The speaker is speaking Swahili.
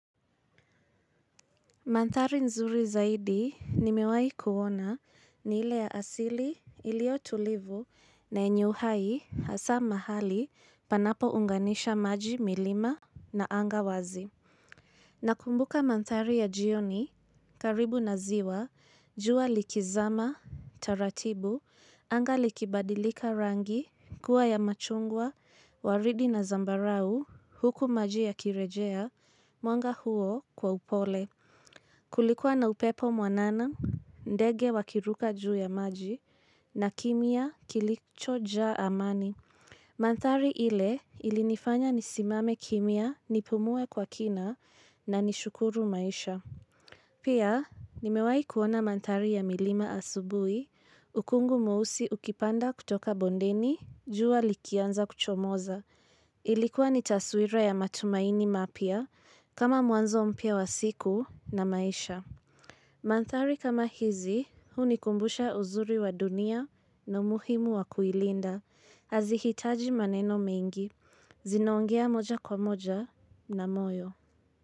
Mandhari nzuri zaidi nimewai kuona ni ile ya asili ilio tulivu na yenye uhai hasaa mahali panapo unganisha maji milima na anga wazi. Na kumbuka mandhari ya jioni karibu na ziwa jua likizama taratibu anga likibadilika rangi kuwa ya machungwa waridi na zambarau huku maji ya kirejea mwanga huo kwa upole. Kulikuwa na upepo mwanana, ndege wakiruka juu ya maji, na kimya kilichojaa amani. Mandhari ile ilinifanya nisimame kimya nipumue kwa kina na nishukuru maisha. Pia, nimewai kuona mandhari ya milima asubui, ukungu mweusi ukipanda kutoka bondeni, jua likianza kuchomoza. Ilikuwa ni taswira ya matumaini mapya, kama mwanzo mpya wasiku na maisha. Mandhari kama hizi, huni kumbusha uzuri wa dunia na muhimu wa kuilinda, hazihitaji maneno mingi, zinaongea moja kwa moja na moyo.